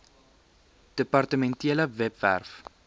depar tementele webwerf